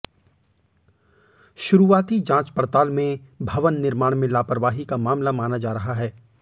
शुरूआती जांच पड़ताल में भवन निर्माण में लापरवाही का मामला माना जा रहा है